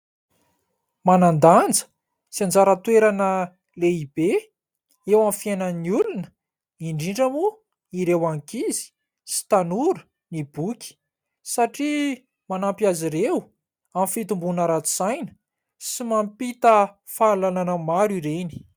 Manan-danja sy anjara toerana lehibe eo amin'ny fiainan'ny olona indrindra moa ireo ankizy sy tanora ny boky; satria manampy azy ireo amin'ny fitomboana ara-tsaina sy mampita fahalalana maro ireny.